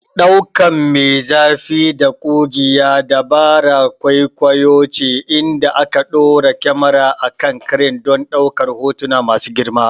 Ɗaukan me zafi da ƙugiya dabarar kwaikwayo ce inda aka ɗora kyamara a kan crane don ɗaukar hotuna masu girma.